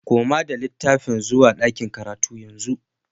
Koma da littafin zuwa ɗakin karatu yanzu